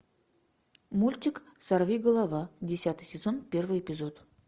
мультик сорви голова десятый сезон первый эпизод